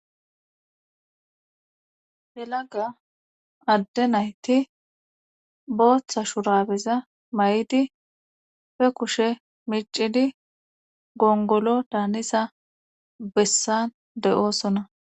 Helaga adde nayti booththa shurabeza may7idi fe kushe micidi gongolo daanisa bessan deyoosonna